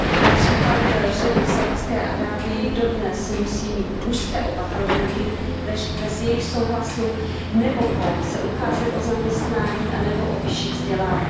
Například ženy v Saudské Arábii dodnes musí mít mužské opatrovníky, bez jejichž souhlasu se nemohou ucházet o zaměstnání anebo o vyšší vzdělání.